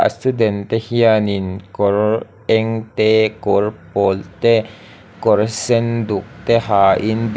a student te hianin kawr eng te kawl pawl te kawr sen duk te hain bil--